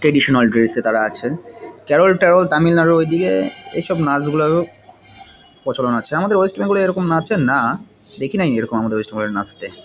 Traditional ড্রেসে -এ তারা আছে। কেরল টেরোল তামিলনাড়ু ও দিকে এইসব নাচগুলার ও প্রচলন আছে। আমাদের ওয়েস্ট বেঙ্গল এ এরম নাচে না দেখি নাই আমাদের ওয়েস্ট বেঙ্গল এরকম নাচতে ।